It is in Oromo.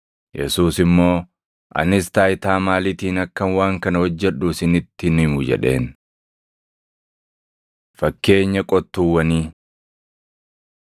Yesuus immoo, “Anis taayitaa maaliitiin akkan waan kana hojjedhu isinitti hin himu” jedheen. Fakkeenya Qottuuwwanii 20:9‑19 kwf – Mat 21:33‑46; Mar 12:1‑12